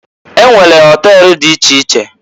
E nwere họtel di iche iche.